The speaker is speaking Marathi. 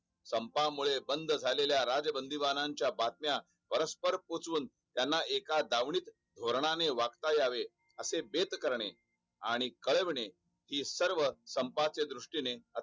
संपामुळे बंद झालेल्या राजबंदीबानाच्या बातम्या परस्पर पोहचवून त्याना एका दावणीत वर्णाने वाचता यावे असे बेत करणे आणि कळवणे हि सर्व संपाच्या दृष्टीने